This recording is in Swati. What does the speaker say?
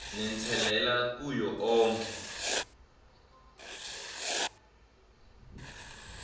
nenselela kuwo onkhe